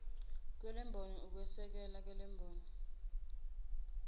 kwalemboni ukwesekelwa kwalemboni